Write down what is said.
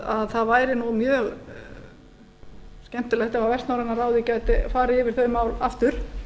að það væri mjög skemmtilegt ef vestnorræna ráðið gæti farið yfir þau mál aftur